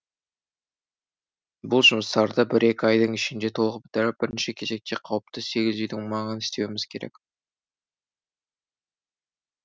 бұл жұмыстарды бір екі айдың ішінде толық бітіріп бірінші кезекте қауіпті сегіз үйдің маңын істеуіміз керек